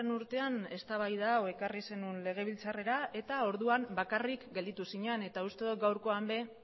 urtean eztabaida hau ekarri zenuen legebiltzarrera eta orduan bakarrik gelditu zinen eta uste dot gaurkoan ere